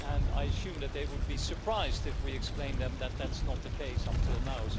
I assume that they would be surprised if we explained to them that that's not the case up till now.